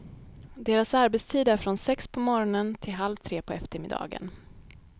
Deras arbetstid är från sex på morgonen till halv tre på eftermiddagen.